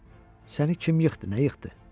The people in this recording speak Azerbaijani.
Qoca, səni kim yıxdı, nə yıxdı?